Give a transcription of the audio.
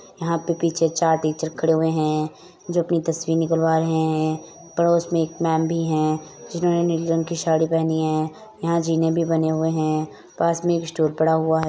'' यहाँ पे पीछे चार टीचर खड़े हुए हैं जो अपनी तस्वीर निकलवा रहे हैं पड़ोस में एक मैम भी हैं जिन्होंने नीली रंग की साड़ी पहनी हैं यहाँ जीने भी बने हुए हैं पास में एक स्टॉल पड़ा हुआ है। ''